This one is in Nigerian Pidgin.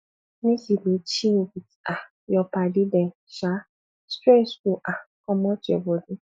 make you dey chill wit um your paddy dem um stress go um comot your bodi